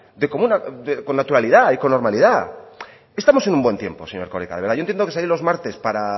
con naturalidad y con normalidad estamos en un buen tiempo señor erkoreka de verdad yo entiendo que salir los martes para